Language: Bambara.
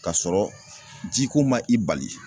Ka sɔrɔ jiko man i bali.